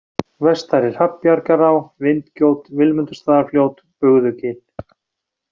Vestari-Hrafnbjargará, Vindgjót, Vilmundarstaðafljót, Bugðugil